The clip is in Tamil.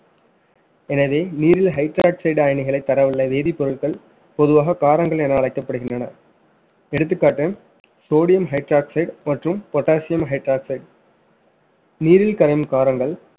எனவே நீரில் hydroxide அயனிகளை தரவுள்ள வேதிப்பொருட்கள் பொதுவாக காரங்கள் என அழைக்கப்படுகின்றன எடுத்துகாட்டு sodium hydroxide மற்றும் potassium hydroxide நீரில் கரையும் காரங்கள்